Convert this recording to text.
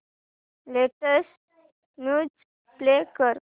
latest news play कर